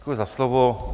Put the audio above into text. Děkuji za slovo.